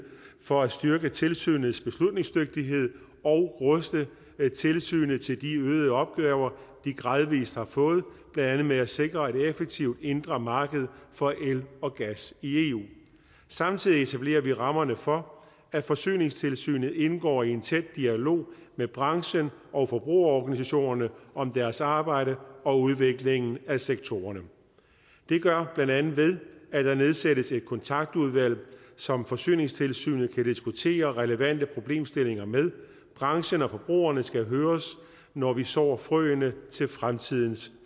for at styrke tilsynets beslutningsdygtighed og ruste tilsynet til de øgede opgaver de gradvis har fået blandt andet med at sikre et effektivt indre marked for el og gas i eu samtidig etablerer vi rammerne for at forsyningstilsynet indgår i en tæt dialog med branchen og forbrugerorganisationerne om deres arbejde og udviklingen af sektoren det gør blandt andet ved at der nedsættes et kontaktudvalg som forsyningstilsynet kan diskutere relevante problemstillinger med branchen og forbrugerne skal høres når vi sår frøene til fremtidens